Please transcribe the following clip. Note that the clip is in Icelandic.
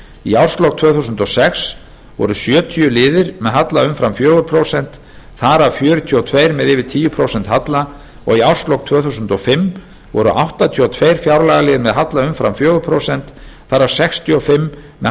í árslok tvö þúsund og sex voru sjötíu liðir með halla umfram fjögur prósent þar af fjörutíu og tvö með yfir tíu prósent halla og í árslok tvö þúsund og fimm voru áttatíu og tvö fjárlagaliðir með halla umfram fjögur prósent þar af sextíu og fimm með